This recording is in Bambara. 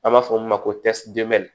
An b'a fɔ min ma ko